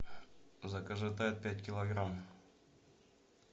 закажи тайд пять килограмм